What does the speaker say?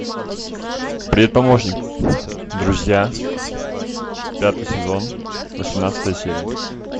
привет помощник друзья пятый сезон восемнадцатая серия